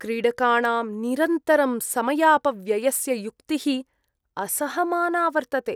क्रीडकाणां निरन्तरं समयापव्ययस्य युक्तिः असहमाना वर्तते।